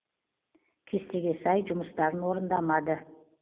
кестеге сай жұмыстарын орындамады